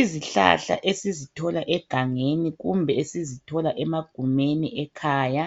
Izihlahla esizithola egangeni kumbe esizithola emagumeni ekhaya